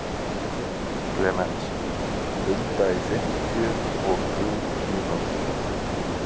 Klemenz, blunda í fimmtíu og þrjú mínútur.